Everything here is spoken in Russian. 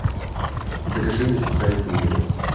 закажи мне сухарики емеля